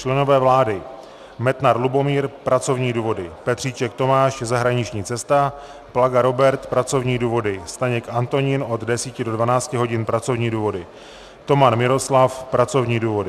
Členové vlády: Metnar Lubomír - pracovní důvody, Petříček Tomáš - zahraniční cesta, Plaga Robert - pracovní důvody, Staněk Antonín od 10 do 12 hodin - pracovní důvody, Toman Miroslav - pracovní důvody.